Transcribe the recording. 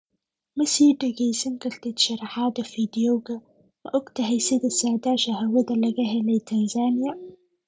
Ma sii dhegeysan kartid sharraxaadda fiidiyowga, Ma ogtahay sida saadaasha hawada laga helay Tansaaniya?